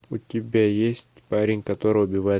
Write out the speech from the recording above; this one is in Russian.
у тебя есть парень который убивает